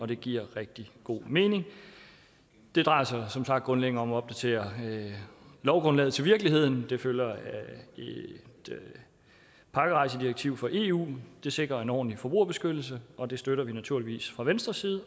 det giver rigtig god mening det drejer sig som sagt grundlæggende om at opdatere lovgrundlaget til virkeligheden det følger af et pakkerejsedirektiv fra eu det sikrer en ordentlig forbrugerbeskyttelse og det støtter vi naturligvis fra venstres side